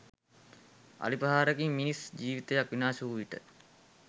අලි ප්‍රහාරයකින් මිනිස් ජිවිතයක් විනාශ වූ විට